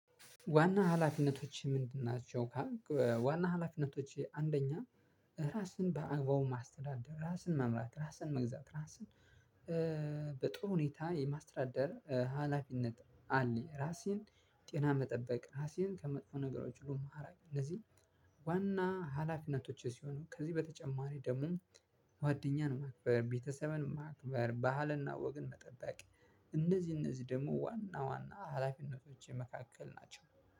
ዋና ኋላፊነቶችህ ምንድን ናቸው? ካልክ ዋና ኋላፊነቶቼ አንደኛ እራስን በአግባቡ ማስተዳደር እራስን መምራት እራስን መግዛት እራስን በጥሩ ሁኔታ የማስተዳደር ኋላፊነት አለኝ። እራሴን ጤና መጠበቅ እራሴን ከመጥፎ ነገሮች በማራቅ እንደዚሁም። ዋና ሀላፊነቶቼ ሲሆኑ ከዚህ በተጨማሪ ደግሞ ጓደኛን ማክበር ቤተሰብን ማክበር ባህልና ወግን መጠበቅ። እነዚህ እነዚህ ደግሞ ዋና ዋና ሀላፊነቶቼ መካከል ናቸው።